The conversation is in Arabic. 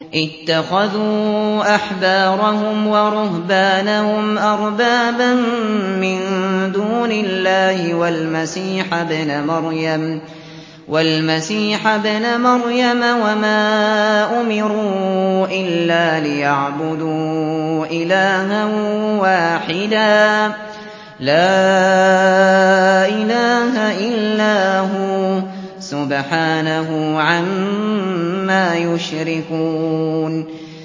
اتَّخَذُوا أَحْبَارَهُمْ وَرُهْبَانَهُمْ أَرْبَابًا مِّن دُونِ اللَّهِ وَالْمَسِيحَ ابْنَ مَرْيَمَ وَمَا أُمِرُوا إِلَّا لِيَعْبُدُوا إِلَٰهًا وَاحِدًا ۖ لَّا إِلَٰهَ إِلَّا هُوَ ۚ سُبْحَانَهُ عَمَّا يُشْرِكُونَ